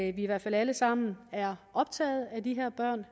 i hvert fald alle sammen er optaget af de her børn